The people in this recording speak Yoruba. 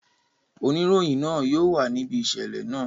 Oniroyin naa yóò wa nibi iṣẹlẹ naa.